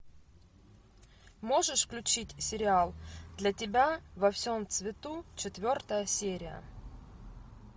можешь включить сериал для тебя во всем цвету четвертая серия